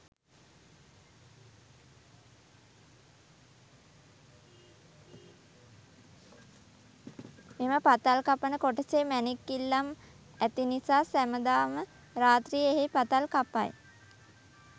මෙම පතල් කපන කොටසේ මැණික් ඉල්ලම් ඇති නිසා සැමදාම රාත්‍රියේ එහි පතල් කපයි.